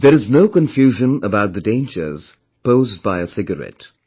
There is no confusion about the dangers posed by a cigarette